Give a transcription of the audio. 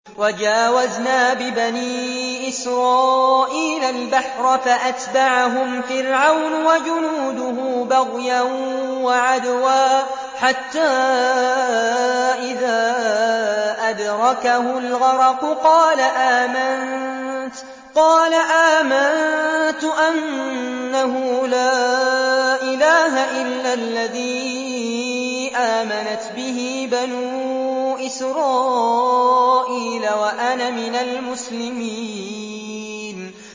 ۞ وَجَاوَزْنَا بِبَنِي إِسْرَائِيلَ الْبَحْرَ فَأَتْبَعَهُمْ فِرْعَوْنُ وَجُنُودُهُ بَغْيًا وَعَدْوًا ۖ حَتَّىٰ إِذَا أَدْرَكَهُ الْغَرَقُ قَالَ آمَنتُ أَنَّهُ لَا إِلَٰهَ إِلَّا الَّذِي آمَنَتْ بِهِ بَنُو إِسْرَائِيلَ وَأَنَا مِنَ الْمُسْلِمِينَ